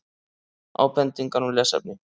Ábendingar um lesefni: